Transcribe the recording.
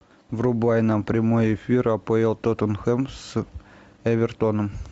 врубай нам прямой эфир апл тоттенхэм с эвертоном